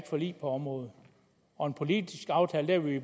forlig på området og en politisk aftale er vi